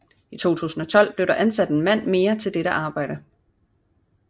I 2012 blev der ansat en mand mere til dette arbejde